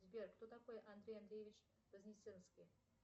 сбер кто такой андрей андреевич вознесенский